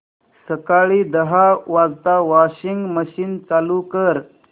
सकाळी दहा वाजता वॉशिंग मशीन चालू कर